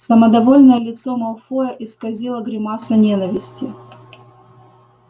самодовольное лицо малфоя исказила гримаса ненависти